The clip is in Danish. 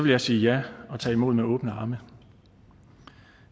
jeg sige ja og tage imod med åbne arme